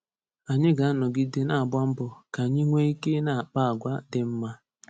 Anyị ga-anọgide na-agba mbọ ka anyị nwee ike ị na-akpa agwa dị mma.